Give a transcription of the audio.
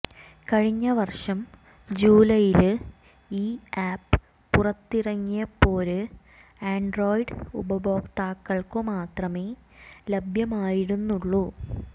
കഴിഞ്ഞ വര്ഷം ജൂലൈയില് ഈ ആപ്പ് പുറത്തിറങ്ങിയപ്പോര് ആന്ഡ്രോയിഡ് ഉപഭോക്താക്കള്ക്കു മാത്രമേ ലഭ്യമായിരുന്നുളളൂ